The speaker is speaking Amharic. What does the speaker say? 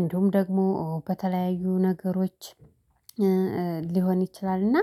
እንዲሁም ደግሞ በተለያዩ ነገሮች ሊሆን ይችላል። እና